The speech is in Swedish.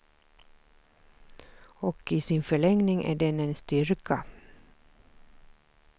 Och i sin förlängning är den en styrka.